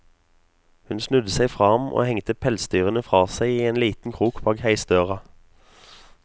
Hun snudde seg fra ham og hengte pelsdyrene fra seg i en liten krok bak heisdøra.